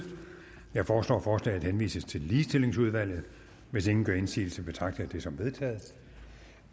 jeg foreslår at forslaget henvises til ligestillingsudvalget hvis ingen gør indsigelse betragter jeg det som vedtaget